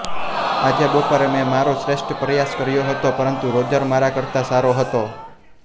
આજે બપોરે મેં મારો શ્રેષ્ઠ પ્રયાસ કર્યો હતો પરંતુ રોજર મારા કરતા સારો હતો